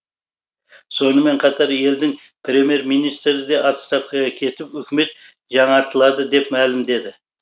сонымен қатар елдің премьер министрі де отставкаға кетіп үкімет жаңартылады деп мәлімдеді